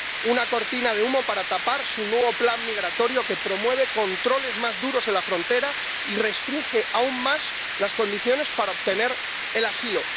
una cortina de humo para tapar su nuevo plan migratorio que promueve controles más duros en la frontera y restringe aún más las condiciones para obtener el asilo.